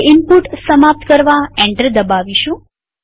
હવે ઈનપુટ સમાપ્ત કરવા એન્ટર દબાવીશું